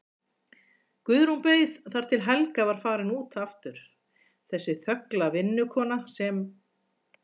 Guðrún beið þar til Helga var farin út aftur, þessi þögla vinnukona sem